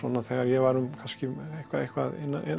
þegar ég var eitthvað eitthvað